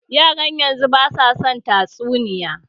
Yaran yanzun basu son tatsuniya